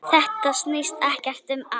Þetta snýst ekkert um ást.